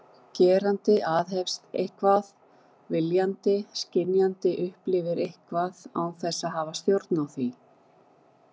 Gerandi aðhefst eitthvað viljandi, skynjandi upplifir eitthvað án þess að hafa stjórn á því.